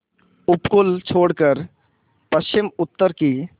उपकूल छोड़कर पश्चिमउत्तर की